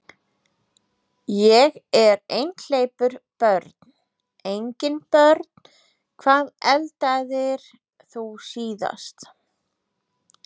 Ég er einhleypur Börn: Engin börn Hvað eldaðir þú síðast?